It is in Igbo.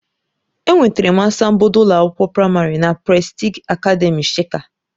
Enwetara m asambodo ụlọ akwụkwọ praịmarị na Prestigị akademị shika.